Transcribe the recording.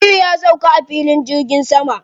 Aliyu ya sauka a filin jirgin sama.